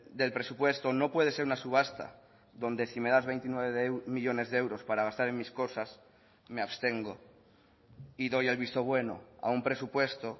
del presupuesto no puede ser una subasta donde si me das veintinueve millónes de euros para gastar en mis cosas me abstengo y doy el visto bueno a un presupuesto